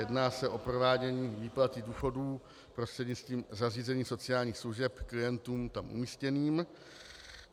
Jedná se o provádění výplaty důchodů prostřednictvím zařízení sociálních služeb klientům tam umístěným.